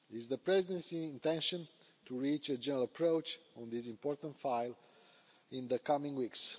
It is the Presidency's intention to reach a general approach on this important file in the coming weeks.